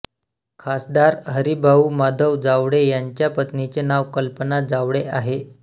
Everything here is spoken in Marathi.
खासदार हरीभाऊ माधव जावळे यांच्या पत्नीचे नाव कल्पना जावळे आहे